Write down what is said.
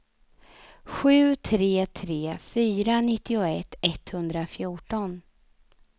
sju tre tre fyra nittioett etthundrafjorton